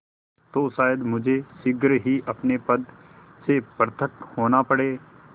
तो शायद मुझे शीघ्र ही अपने पद से पृथक होना पड़े